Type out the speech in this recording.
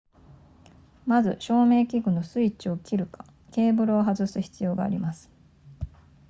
まず照明器具のスイッチを切るかケーブルを外す必要があります